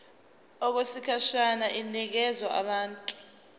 okwesikhashana inikezwa abantu